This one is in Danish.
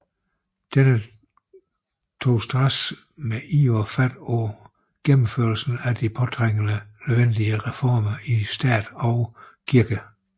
Denne tog straks med iver fat på gennemførelsen af de påtrængende nødvendige reformer i stat og kirke